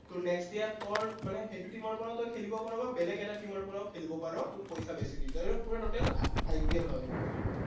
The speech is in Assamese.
তোৰ next year তোৰ মানে সেইটো team ৰ পৰাও তই খেলিব পাৰ বা বেলেগ এটা team ৰ পৰাও খিলেব পাৰ, তোক পইচা বেছি দিয়ে। এইটো তোৰ পূৰা total IPL হয় বস্তুটো।